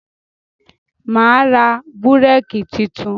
Mà á ra búrékì tuntun.